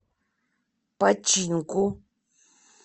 починку